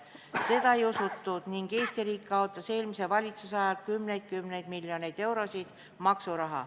Teda ei usutud ning Eesti riik kaotas eelmise valitsuse ajal kümneid miljoneid eurot maksuraha.